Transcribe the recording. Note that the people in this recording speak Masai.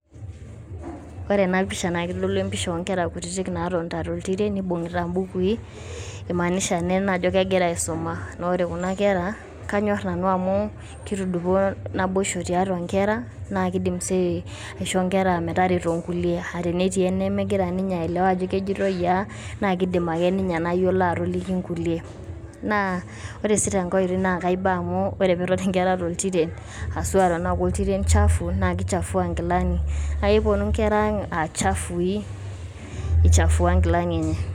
Ore ena pisha naa keitodolu empisha oo nkera kutitik naatonita to iltiren nibung`ita imbukui. Imaanisha naa ena ajo kegira aisuma. Naa ore kuna kera kanyorr nanu amu kitudupaa naboisho tiatua nkera, naa kidim sii aishoo nkera metareto nkulie. Aaa tenetii enemegira ninye aelewa ajo kejoitoi aa naa kidim ake ninye enayiolo atoliki nkulie. Naa ore sii tenkae oitoi naa kaiba amu ore pee etoni nkera to iltiren haswa tenaa koiltiren shafu naa kishafua nkilani. Naa keponu nkera ang aa chafui, ichafua inkilani enye.